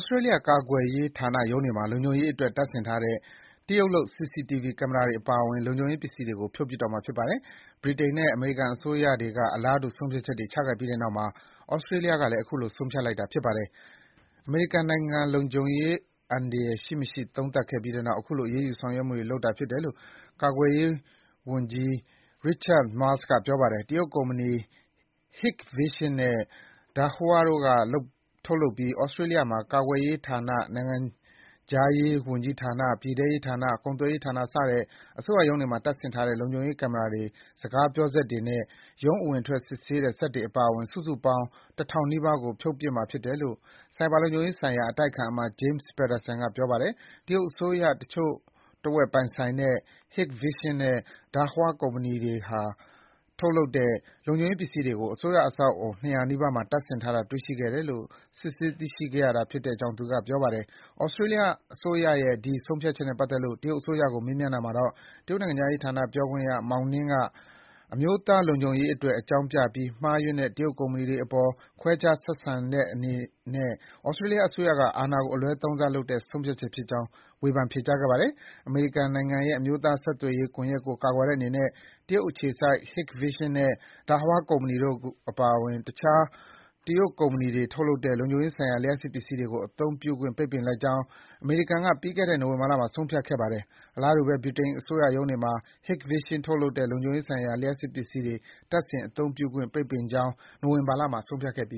စတြေးလျကာကွယ်ရေးဌာနရုံးတွေမှာ လုံခြုံရေးအတွက် တပ်ဆင်ထားတဲ့ တရုတ်လုပ် CCTV ကင်မရာတွေပါအဝင် လုံခြုံရေး ပစ္စည်တွေကို ဖြုတ်ပစ်တော့မှာ ဖြစ်ပါတယ်။ ဗြိတိန်နဲ့ အမေရိကန်အစိုးရတွေက အလားတူ ဆုံးဖြတ်ချက်တွေချခဲ့ပြီးတဲ့နောက်မှာ သြစတြေးလျကလည်း အခုလို ဆုံးဖြတ်လိုက်တာ ဖြစ်ပါတယ်။ အမေရိကန်နိုင်ငံ လုံခြုံရေးအန္တရာယ်ရှိ မရှိ သုံးသပ်ခဲ့ပြီးနောက် ခုလိုအရေးယူဆောင်ရွက်မှုတွေ လုပ်တာဖြစ်တယ်လို့ ကာကွယ်ရေးဝန်ကြီးက Richard Marles ပြောပါတယ်။ တရုတ်ကုမ္ပဏီ Hikvision နဲ့ Dahua တို့က ထုတ်လုပ်ပြီး သြစတြေးလျ ကာကွယ်ရေးဌာန၊ နိုင်ငံခြားရေးဝန်ကြီးဌာန၊ ပြည်ထဲရေးဌာန၊ ကုန်သွယ်ရေးဌာန စတဲ့ အစိုးရရုံး တွေမှာ တပ်ဆင်ထားတဲ့ လုံခြုံရေးကင်မရာတွေ၊ စကားပြောစက်တွေနဲ့ ရုံးအဝင်အထွက် စစ်ဆေးတဲ့စက်တွေအပါအဝင် စုစုပေါင်း ၁,၀၀၀ နီးပါးကို ဖြုတ်ပစ်ရမှာ ဖြစ်တယ်လို့ ဆိုင်ဘာလုံခြုံရေးဆိုင်ရာ အတိုက်အခံအမတ် James Paterson ကလည်း ပြောပါတယ်။ တရုတ်အစိုးရ တချို့တဝက် ပိုင်ဆိုင်တဲ့ Hikvision နဲ့ Dahua ကုမ္ပဏီတွေက ထုတ်လုပ်တဲ့ လုံခြုံရေးပစ္စည်းတွေကို အစိုးရအဆောက်အဦး ၂၀၀ နီးပါးမှာ တပ်ဆင်ထားတာ တေ့ွရှိခဲ့တယ်လို့ စစ်ဆေးသိရှိခဲ့ရတာဖြစ်တယ်လို့ သူကပြောပါတယ်။ သြစတြေးလျအစိုးရရဲ့ ဒီ ဆုံးဖြတ်ချက်နဲ့ပတ်သက်လို့ တရုတ်အစိုးရကို မေးမြန်းတာမှာတော့ တရုတ်နိုင်ငံခြားရေးဌာန ပြောခွင့်ရ Mao Ning က အမျိုးသားလုံခြုံရေးအတွက် အကြောင်းပြပြီး မှားယွင်းတဲ့၊ တရုတ်ကုမ္ပဏီတွေအပေါ် ခွဲခြားဆက်ဆံတဲ့အနေနဲ့ သြစတြေးလျအစိုးရက အာဏာကို အလွဲသုံးစားလုပ်တဲ့ ဆုံးဖြတ်ချက်ဖြစ်ကြောင်း ဝေဖန် ပြောကြားခဲ့ပါတယ်။ အမေရိကန်နိုင်ငံရဲ့ အမျိုးသားဆက်သွယ်ရေး ကွန်ယက်ကို ကာကွယ်တဲ့အနေနဲ့ တရုတ်အခြေစိုက် Hikvision နဲ့ Dahua ကုမ္ပဏီတို့ အပါအဝင် တခြား တရုတ်ကုမ္ပဏီတွေထုတ်တဲ့ လုံခြုံရေးဆိုင်ရာ လျှပ်စစ်ပစ္စည်းတွေကို အသုံးပြုခွင့် ပိတ်ပင်လိုက်ကြောင်း အမေရိကန်အစိုးရက ပြီးခဲ့တဲ့နှစ် နိုဝင်ဘာလမှာ ဆုံးဖြတ်ခဲ့ပါတယ်။ အလားတူဘဲ ဗြိတိန်အစိုးရရုံးတွေမှာ Hikvision ကထုတ်လုပ်တဲ့ လုံခြုံရေးဆိုင်ရာ လျှပ်စစ်ပစ္စည်းတွေ တပ်ဆင် အသုံးပြုခွင့် ပိတ်ပင်ကြောင်း နိုဝင်ဘာလမှာ ဆုံးဖြတ်ခဲ့ပ